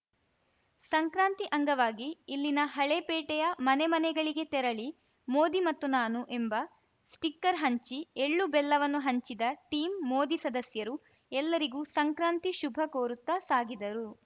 ಸಂಕ್ರಾಂತಿ ಅಂಗವಾಗಿ ಇಲ್ಲಿನ ಹಳೇಪೇಟೆಯ ಮನೆ ಮನೆಗಳಿಗೆ ತೆರಳಿ ಮೋದಿ ಮತ್ತು ನಾನು ಎಂಬ ಸ್ಟಿಕರ್‌ ಹಂಚ್ಚಿ ಎಳ್ಳು ಬೆಲ್ಲವನ್ನು ಹಂಚಿದ ಟೀಂ ಮೋದಿ ಸದಸ್ಯರು ಎಲ್ಲರಿಗೂ ಸಂಕ್ರಾಂತಿ ಶುಭಾ ಕೋರುತ್ತ ಸಾಗಿದರು